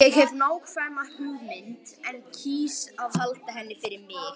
Ég hef nákvæma hugmynd en kýs að halda henni fyrir mig.